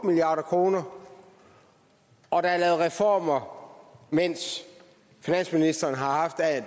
milliard kr og at der er lavet reformer mens finansministeren har haft